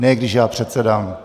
Ne když já předsedám.